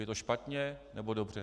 Je to špatně, nebo dobře?